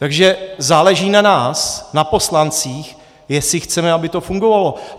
Takže záleží na nás, na poslancích, jestli chceme, aby to fungovalo.